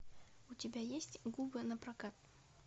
у тебя есть губы напрокат